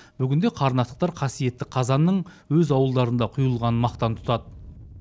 бүгінде қарнақтықтар қасиетті қазанның өз ауылдарында құйылғанын мақтан тұтады